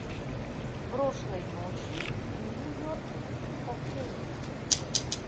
прошлой ночью в нью йорке фо кей